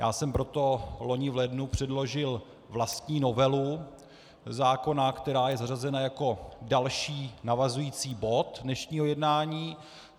Já jsem proto loni v lednu předložil vlastní novelu zákona, která je zařazena jako další, navazující bod dnešního jednání.